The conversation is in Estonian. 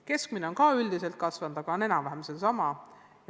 Keskmine tulemus on üldiselt ka paranenud, aga on siiski enam-vähem sama.